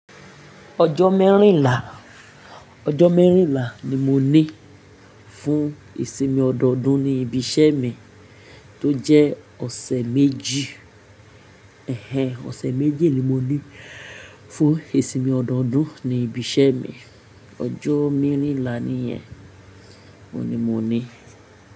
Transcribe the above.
Ọjọ́ mẹ́rìnlá, ọjọ́ mẹ́rìnlá ni mo ní fún ìsinmi ọdọọdún ní ibi iṣẹ́ mi tó jẹ́ ọ̀sẹ̀ méjì. Ẹ̀hẹn, ọ̀sẹ̀ méjì ni mo ní fún ìsinmi ọdọọdún ní ibi iṣẹ́ mi. Ọjọ́ mẹ́rìnlá nìyẹn, òní mo ní.